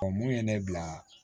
Ɔ mun ye ne bila